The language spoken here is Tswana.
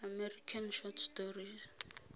american short story